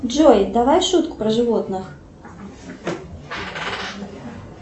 джой давай шутку про животных